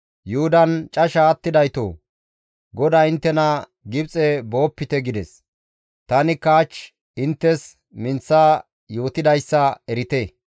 «Yuhudan casha attidaytoo! GODAY inttena, ‹Gibxe boopite!› gides. Tanikka hach inttes minththa yootidayssa erite.